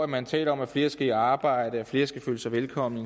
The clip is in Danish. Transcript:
man taler om at flere skal i arbejde og at flere skal føle sig velkomne